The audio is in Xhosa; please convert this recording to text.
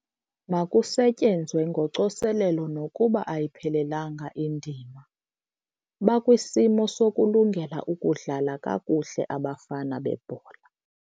Makusetyenzwe ngocoselelo nokuba ayiphelanga indima. bakwisimo sokulungela ukudlala kakuhle abafana bebhola